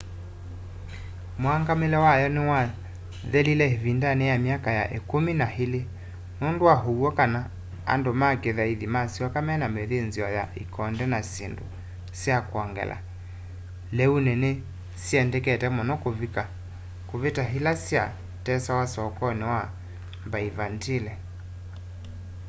mũngamĩle wa yo nĩwathelĩle ĩvĩndanĩ ya myaka ya ĩkũmĩ n ĩlĩ nũndũ wa ũwyo kana andũ ma kĩthaĩthĩ masyoka mena mĩthĩnzĩo ya ĩkonde na shĩndũ sya kwongela leũnĩ ĩla nĩ syendekete mũno kũvita ĩla sya tesawa sokonĩ wa byvantine